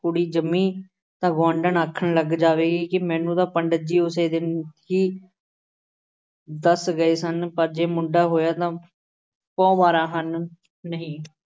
ਕੁੜੀ ਜੰਮੀ ਤਾਂ ਗੁਆਂਢਣ ਲੱਗ ਆਖਣ ਲੱਗ ਜਾਵੇਗੀ ਕਿ ਮੈਨੂੰ ਤਾਂ ਪੰਡਿਤ ਜੀ ਉਸੇ ਦਿਨ ਹੀ ਦੱਸ ਗਏ ਸਨ ਪਰ ਜੇ ਮੁੰਡਾ ਹੋਇਆ ਤਾਂ ਪੌਂ ਬਾਰਾਂ ਹਨ ਨਹੀਂ